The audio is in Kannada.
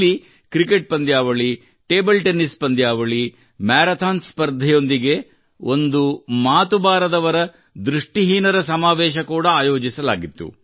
ಇಲ್ಲಿ ಕ್ರಿಕೆಟ್ ಪಂದ್ಯಾವಳಿ ಟೇಬಲ್ ಟೆನ್ನಿಸ್ ಪಂದ್ಯಾವಳಿ ಮ್ಯಾರಥಾನ್ ಸ್ಪರ್ಧೆಯೊಂದಿಗೆ ಒಂದು ಮಾತು ಬಾರದವರ ದೃಷ್ಟಿ ಹೀನರ ಸಮಾವೇಶ ಕೂಡಾ ಆಯೋಜಿಸಲಾಗಿತ್ತು